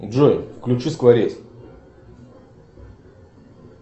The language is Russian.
джой включи скворец